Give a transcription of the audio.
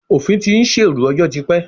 Òfin ti ń ṣèrú ọjọ́ ti pẹ́.